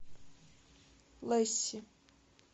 лесси